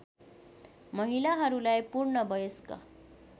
महिलाहरूलाई पूर्ण वयस्क